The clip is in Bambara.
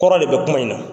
Kɔrɔ de bɛ kuma in na